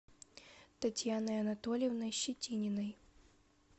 татьяной анатольевной щетининой